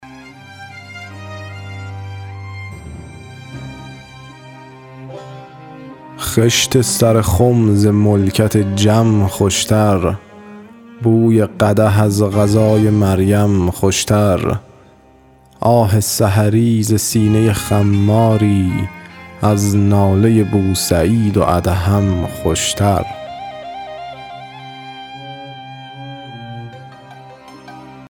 خشت سر خم ز ملکت جم خوشتر بوی قدح از غذای مریم خوشتر آه سحری ز سینه خماری از ناله بوسعید و ادهم خوشتر